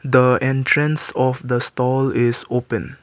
the entrance of the stall is open.